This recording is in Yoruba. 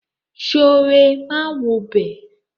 Sooré máa wobẹ̀.